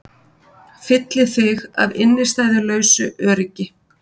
Fylli þig af innistæðulausu öryggi.